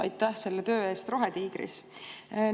Aitäh selle töö eest Rohetiigris!